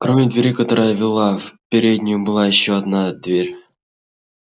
кроме двери которая вела в переднюю была ещё одна дверь